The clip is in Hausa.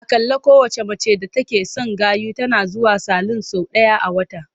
Aƙalla kowacce mace d atake son gayu tana zuwa salun sau ɗaya a wata.